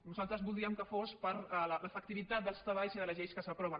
nosaltres voldríem que fos per l’efectivitat dels treballs i de les lleis que s’aproven